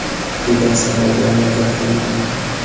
degan savol bilan murojaat qilingan.